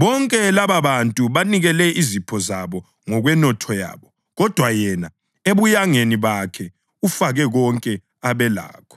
Bonke lababantu banikele izipho zabo ngokwenotho yabo, kodwa yena ebuyangeni bakhe ufake konke abelakho.”